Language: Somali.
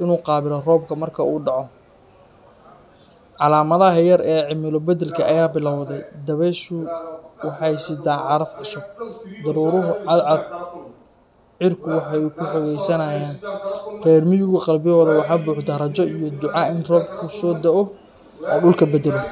inu qabilo robka marka u daco calamadaha yar cimila badalka aya bilawday dabeeshu waxa sida caraftu daruuruhu cad cad xerku waxay kuxogeysnayan rer migu riyadooda waxa buuxda raja iyo duca in roobku sodao o dulka badalo.